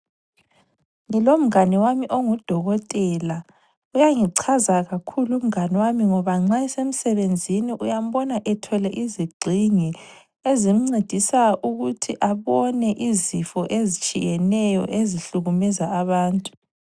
Ngilomngane wami ongudokotela. Uyangichaza kakhulu umngane wami ngoba nxa esemsebenzini uyambona ethwele izigxingi ezimncedisa ukuthi abone izifo ezitshiyeneyo ezihlukumeza abantu.